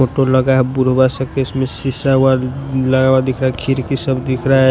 Photo लगा है सब में शीशा व लगा हुआ दिख रहा है खिरकी सब दिख रहा है।